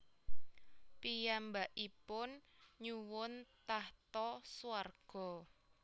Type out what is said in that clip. Piyambakipun nyuwun tahta swarga